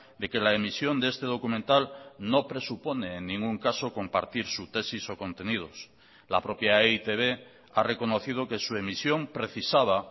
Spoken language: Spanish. de que la emisión de este documental no presupone en ningún caso compartir su tesis o contenidos la propia e i te be ha reconocido que su emisión precisaba